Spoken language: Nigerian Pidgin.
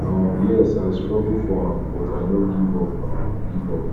um yes i struggle for am but i no give up give up